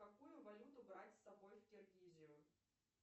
какую валюту брать с собой в киргизию